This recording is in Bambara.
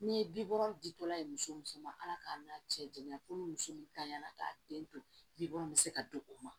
Ni bibɔ dilala ye muso muso ma ala k'an cɛ janya ko muso min kan y'a la k'a den to bibɔ bɛ se ka don o ma